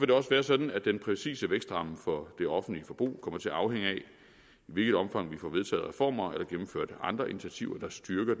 det også være sådan at den præcise vækstramme for det offentlige forbrug kommer til at afhænge af i hvilket omfang vi får vedtaget reformer eller gennemført andre initiativer der styrker